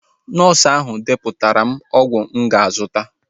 Nọọsu ahụ depụtara m ọgwụ mụ ga-azụta